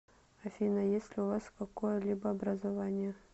афина есть ли у вас какое либо образование